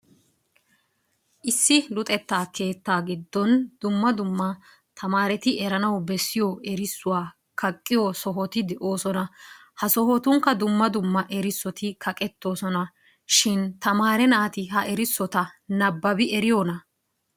Issi luxetta keettaa giddon dumma dumma tamaareti eranawu erissuwa kaqqiyo sohoti de'oosona. Ha sohotunkka dumma dumma erissoti kaqettoosona. Shin tamaare naati ha erissota nabbabi eriyonaa?